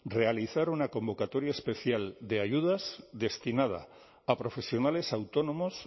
realizar una convocatoria especial de ayudas destinada a profesionales autónomos